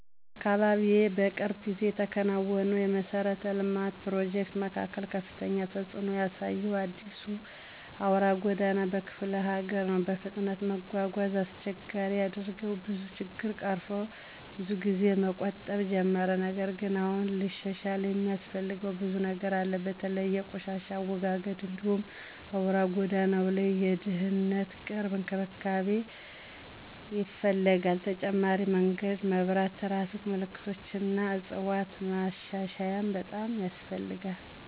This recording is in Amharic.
በአካባቢዬ የቅርብ ጊዜ የተከናወነው የመሠረተ ልማት ፕሮጀክት መካከል ከፍተኛ ተጽእኖ ያሳየው የአዲሱ አውራ ጎዳና በክፍለ ሀገር ነው። በፍጥነት መጓጓዣን አስቸጋሪ ያደረገው ብዙ ችግኝ ቀርፎ ብዙ ጊዜን መቆጠብ ጀመረ። ነገር ግን አሁንም ሊሻሻል የሚያስፈልገው ብዙ ነገር አለ። በተለይ የቆሻሻ አወጋገድ እንዲሁም በአውራ ጎዳናው ላይ የድህነት ቅርብ እንክብካቤ ይፈልጋል። ተጨማሪ የመንገድ መብራት፣ ትራፊክ ምልክቶች እና ዕፅዋት ማሻሻያም በጣም ያስፈልጋል።